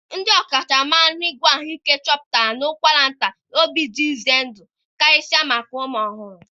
Ndị ọkachamara n'ịgwọ ahụike chọpụtara na ụkwara ntachi obi dị ize ndụ karịsịa maka ụmụ ọhụrụ